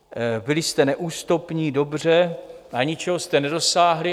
Byli jste neústupní, dobře, ale ničeho jste nedosáhli.